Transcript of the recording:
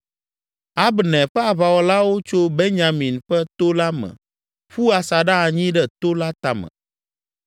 Abner ƒe aʋawɔlawo tso Benyamin ƒe to la me ƒu asaɖa anyi ɖe to la tame.